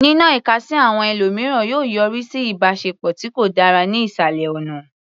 Nínọ ìka sí àwọn ẹlòmíràn yóò yọrí sí ìbáṣepọ̀ tí kò dára ní ìsàlẹ̀ ọ̀nà.